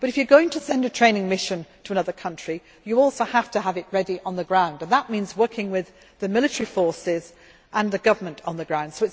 But if you are going to send a training mission to another country, you also have to have it ready on the ground, and that means working with the military forces and the government on the ground.